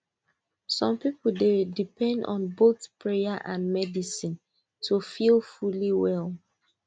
some people dey depend on both prayer and medicine to feel fully well